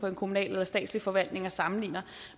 en kommunal eller statslig forvaltning og sammenligner